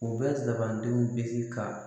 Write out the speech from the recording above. U bɛ zabandenw bisi ka